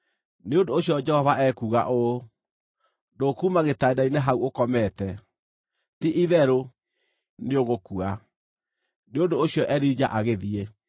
Nĩ ũndũ ũcio Jehova ekuuga ũũ: ‘Ndũkuuma gĩtanda-inĩ hau ũkomete. Ti-itherũ nĩũgũkua!’ ” Nĩ ũndũ ũcio Elija agĩthiĩ.